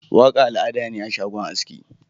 Waka al'ada ne a shagon aski.